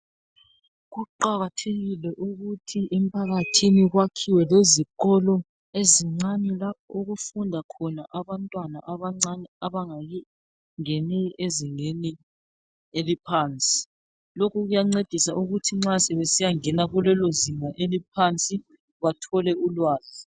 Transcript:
Kuqakathekile ukuthi emphakathini kwakhiwe lezikolo ezincane lapho okufunda khona abantwana abancane abangakangeni ezingeni eliphansi. Lokhu kuyancedisa ukuthi nxa sebesiyangena kulelo zinga eliphansi bathole ulwazi.